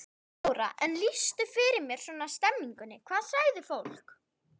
Þóra: En lýstu fyrir mér svona stemmingunni, hvað sagði fólk?